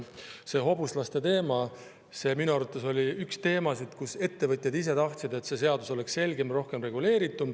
See hobuslaste teema oli minu teada üks teemasid, mille puhul ettevõtjad ise tahtsid, et see seadus oleks selgem ja rohkem reguleeritud.